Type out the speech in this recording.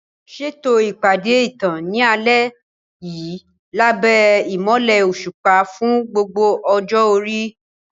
Ṣètò ìpàdé ìtàn ní alẹ́ yìí lábẹ́ ìmọ́lẹ̀ òṣùpá fún gbogbo ọjọ́ orí.